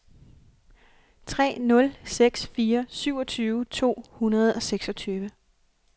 tre nul seks fire syvogtyve to hundrede og seksogtyve